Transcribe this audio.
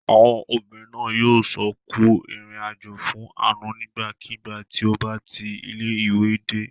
Àwọn obìnrin náà yóò sọ "Kú ìrìnàjò" fún Àánú nígbàkigbà tí ó bá ti ilé-ìwé dé.